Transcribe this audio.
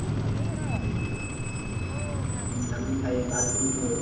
হ্যাঁ R one five version four